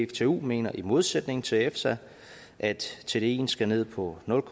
dtu mener i modsætning til efsa at tdien skal ned på nul